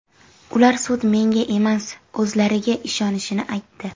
Ular sud menga emas, o‘zlariga ishonishini aytdi.